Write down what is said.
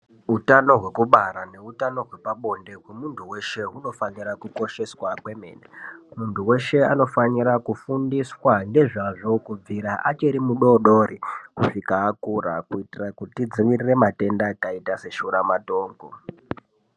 Utano hweku bara ne utano hwepa bonde hwe muntu weshe huno fanira kukosheswa kwemene muntu weshe anofanira kufundiswa ngezvazvo kubvira achiri mu dodori kusvika akura kuitira kuti tidzivirire matenda akaita se shura matongo.